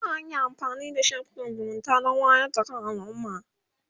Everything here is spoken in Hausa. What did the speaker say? za'a iya amfanin da shafukan zumunta Dan wayar da kan alumma